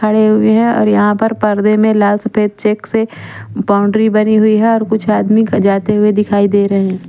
खड़े हुए हैं और यहां पर पर्दे में लाल सफेद चेक से बाउंड्री बनी हुई है और कुछ आदमी का जाते हुए दिखाई दे रहे हैं।